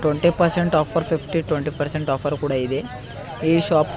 thirty percent offer fifty twenty percent offer ಕೂಡ ಇದೆ ಈ ಶಾಪ್ --